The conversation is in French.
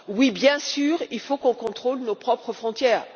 Oui, bien sûr, il faut qu'on contrôle nos propres frontières.